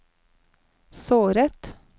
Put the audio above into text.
såret